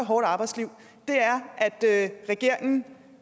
hårdt arbejdsliv er at regeringen